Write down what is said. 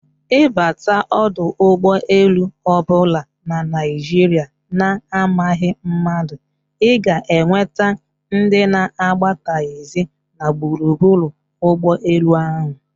Ịbata ọdọ ụgbọ elu ọbụla na Naijiria na amaghị mmadụ, ịga enweta ndị na-agba taxi na gburugburu ụgbọ elu ahụ